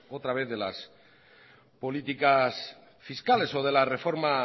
otra vez de las políticas fiscales o de la reforma